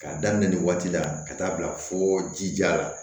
K'a daminɛ nin waati la ka taa bila fo jija la